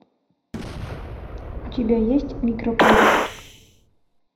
у тебя есть микрополис